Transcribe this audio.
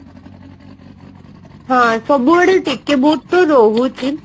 ହଁ ସବୁ ଆଡେ ଟିକେ ଭୁଲ ତ ରହୁଛି ଆଉ